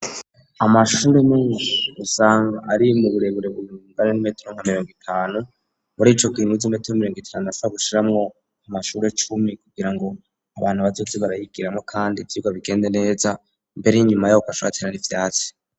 Amashure me gusanga ari mu burebure bumuungane n'imetero nkameyongo itanu buri ico kwinnuze imetero m'iyongo itandasa gushiramwo amashure cumi kugira ngo abantu bazozi barayigiramo, kandi ivyira bigende neza mbere y'inyuma yoko ashatirara ivyasi.